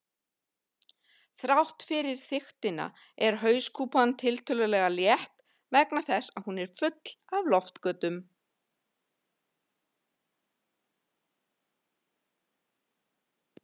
Þrátt fyrir þykktina er hauskúpan tiltölulega létt vegna þess að hún er full af loftgöngum.